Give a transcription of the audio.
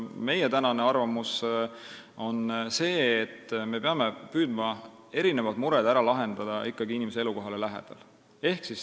Meie tänane arvamus on see, et me peame püüdma mured ära lahendada ikkagi inimese elukoha lähedal.